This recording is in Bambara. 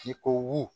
I komin